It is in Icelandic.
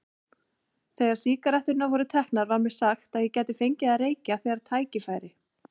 Þegar sígaretturnar voru teknar var mér sagt að ég gæti fengið að reykja þegar tækifæri